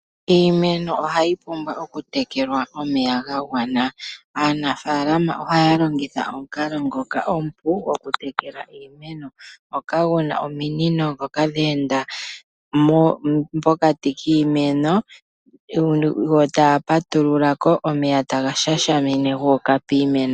Iimeno ohayi pumbwa okutekelwa omeya ga gwana. Aanafaalama ohaya longitha omukalo ngoka omupu gwokutekela iimeno ngoka gu na ominino ndhoka dhe enda pokati kiimeno yo taya patulula ko, omeya taga shashamine gu uka piimeno.